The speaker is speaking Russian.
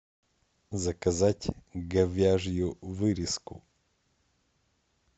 заказать говяжью вырезку